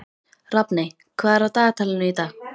Rafney, hvað er á dagatalinu í dag?